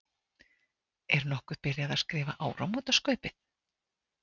Er nokkuð byrjað að skrifa áramótaskaupið?